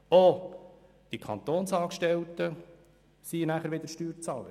Auch die Kantonsangestellten sind, wie wir es auch von linker Seite gehört haben, Steuerzahler.